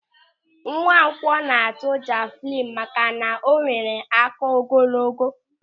Nwankwọ na-atụ javịlịnụ maka na o nwere áká ogologo.